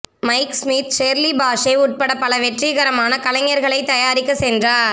mic Smith Shirley Bassey உட்பட பல வெற்றிகரமான கலைஞர்களைத் தயாரிக்க சென்றார்